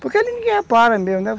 Porque ninguém repara mesmo, né?